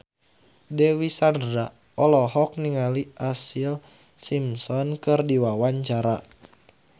Dewi Sandra olohok ningali Ashlee Simpson keur diwawancara